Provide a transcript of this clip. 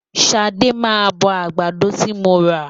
Ṣadé máa bọ àgbàdo ti mo rà.